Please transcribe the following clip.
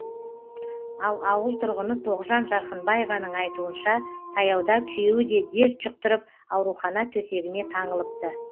ал ауыл тұрғыны тоғжан жарқынбаеваның айтуынша таяуда күйеуі де дерт жұқтырып аурухана төсегіне таңылыпты